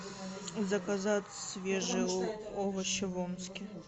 заказать свежие овощи в омске